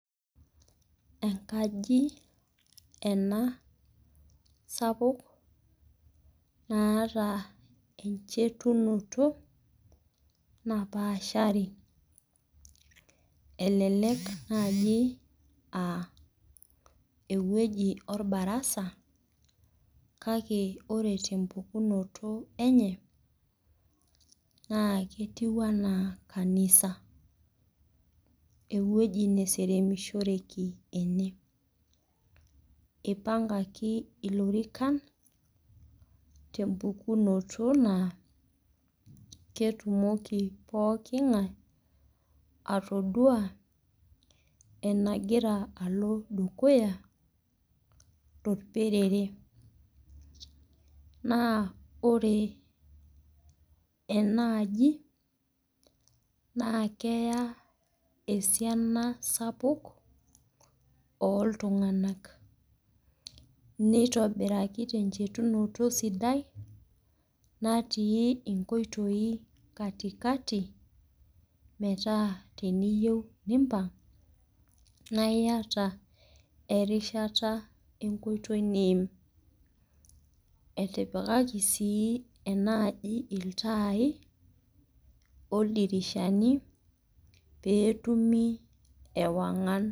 Enkaji ena sapuk naata enchetunoto napaashari, elelek naaji naa ewueji olbarasa, kake ore te empukunoto enye naa ketiu anaa kanisa, ewueji neseremishoreki ene. Eipangaki ilorikan te empukunoto naa ketumoki pooking'ai atodua enagira alo dukuya tolperere. Naa ore enaaji naa keyaa esiana sapuk ooltungana, neitobiraki tenchetunoto sidai natii inkoitoi katikati, metaa teniyou nimpang' naa iata erishata enkoitoi niim. Etipikaki sii enaaji iltaai, oldirishani pee etumi ewang'an.